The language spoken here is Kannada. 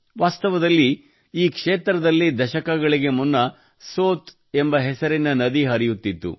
ವಾಸ್ತವದಲ್ಲಿ ಈ ಕ್ಷೇತ್ರದಲ್ಲಿ ದಶಕಗಳಿಗೆ ಮುನ್ನ ಸೋತ್ ಎಂಬ ಹೆಸರಿನ ನದಿ ಹರಿಯುತ್ತಿತ್ತು